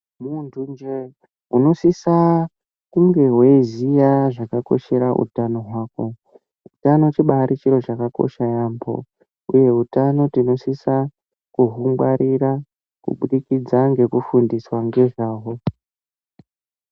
Muntu njee unosisa kunge weiziya zvakakoshera utano hwako. Utano chibaari chiro chakakosha yaampho uye utano tinosisa kuhungwarira kubudikidza ngekufundiswa ngezvahwo.